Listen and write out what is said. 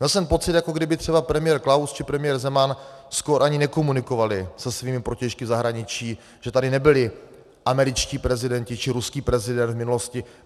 Měl jsem pocit, jako kdyby třeba premiér Klaus či premiér Zeman skoro ani nekomunikovali se svými protějšky v zahraničí, že tady nebyli američtí prezidenti či ruský prezident v minulosti.